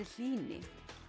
hlýni